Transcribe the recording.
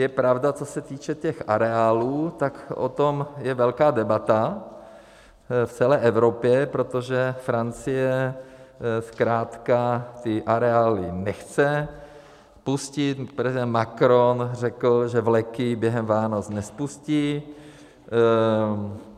Je pravda, co se týče těch areálů, tak o tom je velká debata v celé Evropě, protože Francie zkrátka ty areály nechce spustit, prezident Macron řekl, že vleky během Vánoc nespustí.